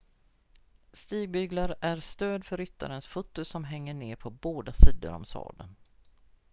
stigbyglar är stöd för ryttarens fötter som hänger ner på båda sidor om sadeln